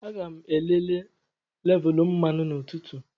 Aga m elele lévulú mmanụ n'ụtụtụ